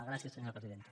gràcies senyora presidenta